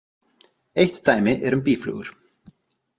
Eitt dæmi er um býflugur.